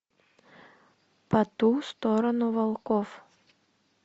по ту сторону волков